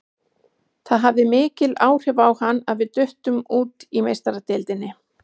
Það hafði mikil áhrif á hann að við duttum út í Meistaradeildinni.